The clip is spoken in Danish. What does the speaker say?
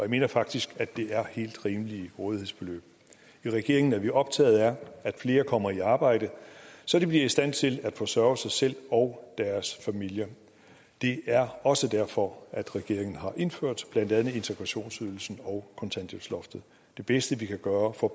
mener faktisk at det er helt rimelige rådighedsbeløb i regeringen er vi optagede af at flere kommer i arbejde så de bliver i stand til at forsørge sig selv og deres familier det er også derfor at regeringen har indført blandt andet integrationsydelsen og kontanthjælpsloftet det bedste vi kan gøre for